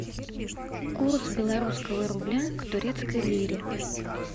курс белорусского рубля к турецкой лире